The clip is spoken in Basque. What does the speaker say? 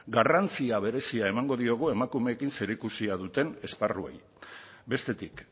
garrantzia berezia emango diogu emakumeekin zerikusia duten esparruei bestetik